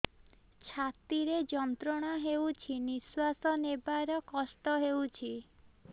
ଛାତି ରେ ଯନ୍ତ୍ରଣା ହେଉଛି ନିଶ୍ଵାସ ନେବାର କଷ୍ଟ ହେଉଛି